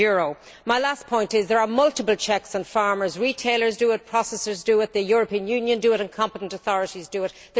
100. My last point is that there are multiple checks on farmers retailers do it, processors do it, the European Union does it and competent authorities do it.